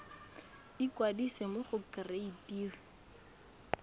ikwadisa mo go kereite r